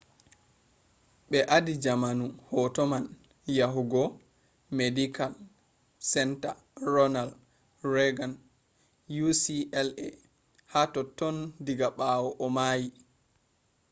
be adi jaamu hoto man yahugo medikal senta ronald reagan ucla ha totton diga ɓawo o maayi